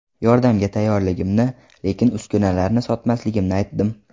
Yordamga tayyorligimni, lekin uskunalarni sotmasligimni aytdim.